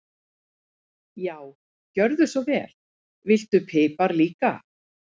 Já, gjörðu svo vel. Viltu pipar líka?